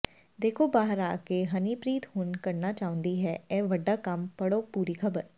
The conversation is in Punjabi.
ਦੇਖੋ ਬਾਹਰ ਆ ਕੇ ਹਨੀਪ੍ਰੀਤ ਹੁਣ ਕਰਨਾ ਚਾਹੁੰਦੀ ਹੈ ਇਹ ਵੱਡਾ ਕੰਮ ਪੜ੍ਹੋ ਪੂਰੀ ਖਬਰ